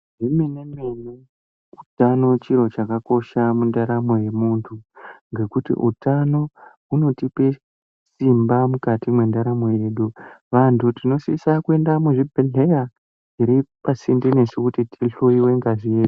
Zvemene mene utano chiro chakakosha mundarano yemuntu, ngekuti utano hunotipe simba mukati mwendaramo yedu. Vantu tinosisa kuenda kuzvibhehleya zviri pasinde nesu kuti tihlowiwe ngazi yedu.